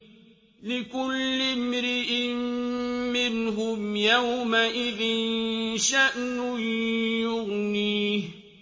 لِكُلِّ امْرِئٍ مِّنْهُمْ يَوْمَئِذٍ شَأْنٌ يُغْنِيهِ